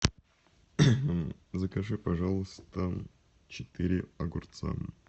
закажи пожалуйста четыре огурца